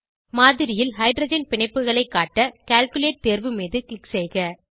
மாதிரியில் ஹைட்ரஜன் பிணைப்புகளை காட்ட கால்குலேட் தேர்வு மீது க்ளிக் செய்க